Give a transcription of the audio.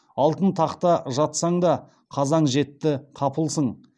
алтын тақта жатсаң да қазаң жетті қапылсың